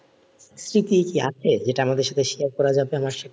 কি কি আছে যেটা আমাদের সাথে share করা যাবে আমার সাথে?